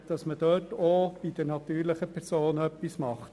Hier soll man nun auch für die natürlichen Personen etwas tun.